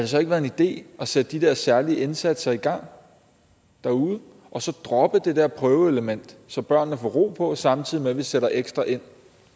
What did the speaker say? så ikke være en idé at sætte de der særlige indsatser i gang derude og så droppe det der prøveelement så børnene får ro på samtidig med at vi sætter ekstra ind